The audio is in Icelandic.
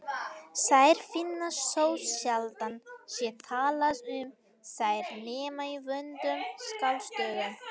Þær finnast þótt sjaldan sé talað um þær nema í vondum skáldsögum.